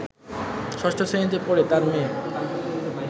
৬ষ্ঠ শ্রেণিতে পড়ে তার মেয়ে